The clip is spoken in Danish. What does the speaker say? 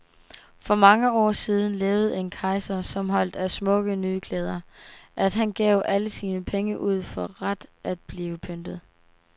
For mange år siden levede en kejser, som holdt af smukke nye klæder, at han gav alle sine penge ud for ret at blive pyntet.